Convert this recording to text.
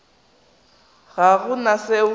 ga go na se o